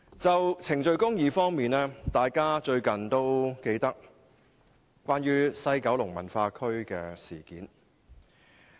就程序公義而言，相信大家仍記得最近的西九文化區事件。